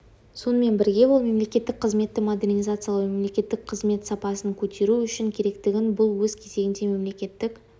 сонымен бірге ол мемлекеттік қызметті модернизациялау мемлекеттік қызмет сапасын көтеру үшін керектігін бұл өз кезегінде мемлекеттік